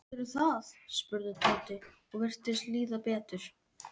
Reykjavík, Hafnarfirði og Akureyri en helstu togaramiðin voru úti fyrir